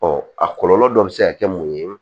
a kɔlɔlɔ dɔ bɛ se ka kɛ mun ye